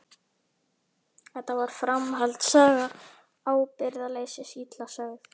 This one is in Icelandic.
Þetta var framhaldssaga ábyrgðarleysis, illa sögð.